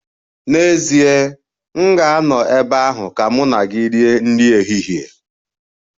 N'ezie, m ga-anọ ebe ahụ ka mụ na gị rie nri ehihie.